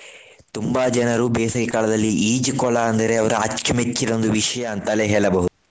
ತುಂಬಾ ಜನರು ಬೇಸಗೆಕಾಲದಲ್ಲಿ ಈಜುಕೊಳ ಅಂದರೆ ಅವರ ಅಚ್ಚು ಮೆಚ್ಚಿನ ಒಂದು ವಿಷಯ ಅಂತಲೇ ಹೇಳಬಹುದು.